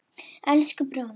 Elsku bróðir.